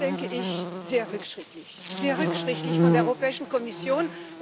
Und das ist, denke ich, sehr rückschrittlich, sehr rückschrittlich von der Europäischen Kommission.